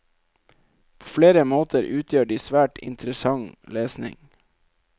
På flere måter utgjør de svært interessant lesning.